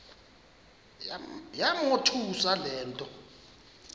yamothusa le nto